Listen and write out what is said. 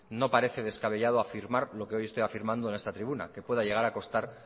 no parece descabellado afirmar lo que hoy estoy afirmando en esta tribuna que pueda llegar a costar